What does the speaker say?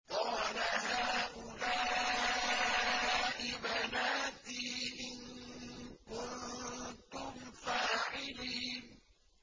قَالَ هَٰؤُلَاءِ بَنَاتِي إِن كُنتُمْ فَاعِلِينَ